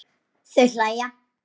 Þau hlæja.